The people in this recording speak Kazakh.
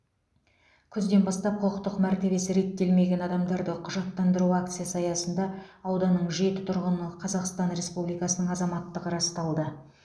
күзден бастап құқықтық мәртебесі реттелмеген адамдарды құжаттандыру акциясы аясында ауданның жеті тұрғының қазақстан республикасының азаматтығы расталды